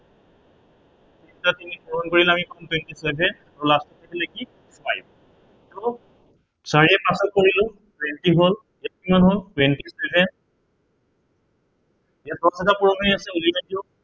নটা তিনিক পূৰণ কৰিলে আমি পাম twenty seven আৰু last ত থাকিলে কি five চাৰিয়ে পাঁচক কৰিলো twenty হল, ইয়াত কিমান হল, twenty seven ইয়াত পূৰণ হৈ আছে উলিয়াই দিয়ক